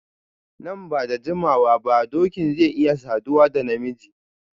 Nan ba da jimawa ba dokin zai isa saduwa da na miji.